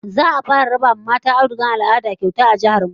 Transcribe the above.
Za'a fara raba wa mata audugar al'ada kyauta a jihar mu